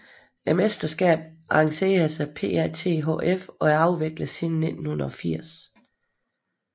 Mesterskabet arrangeres af PATHF og er afviklet siden 1980